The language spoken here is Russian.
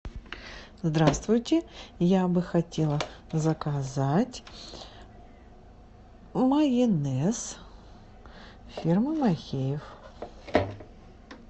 здравствуйте я бы хотела заказать майонез фирмы махеев